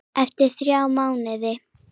Eftir þrjá mánuði?